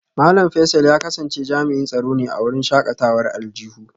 Malam Faisal ya kasance jami'in tsaro ne a wurin shakatawar aljihu